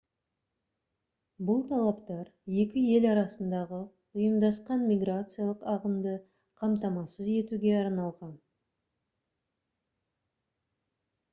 бұл талаптар екі ел арасындағы ұйымдасқан миграциялық ағынды қамтамасыз етуге арналған